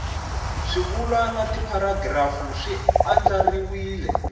swivulwa na tipharagirafu swi andlariwile